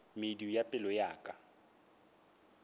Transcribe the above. medu ya pelo ya ka